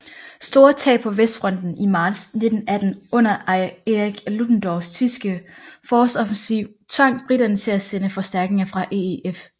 Store tab på Vestfronten i marts 1918 under Erich Ludendorffs tyske forårsoffensiv tvang briterne til at sende forstærkninger fra EEF